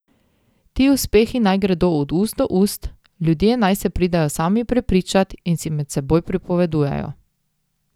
Ti uspehi naj gredo od ust do ust, ljudje naj se pridejo sami prepričat in si med seboj pripovedujejo.